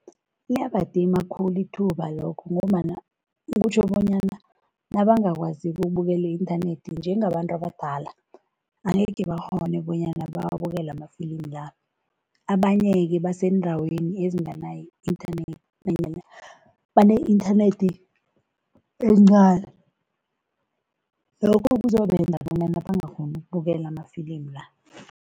Iyabadima khulu ithuba lokho ngombana kutjho bonyana nabangakwaziko ukubukela i-inthanethi, njengabantu abadala, angekhe bakghone bonyana bawabukele amafilimi la. Abanye-ke baseendaweni ezinganayo i-inthanethi nanyana bane-inthanethi encani, lokho kuzobenza bonyana bangakghoni ukubukela amafilimi la.